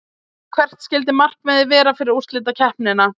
Hvert skyldi markmiðið vera fyrir úrslitakeppnina?